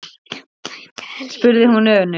spurði hún önug.